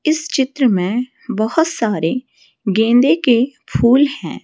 इस चित्र में बहोत सारे गेंदे के फूल हैं।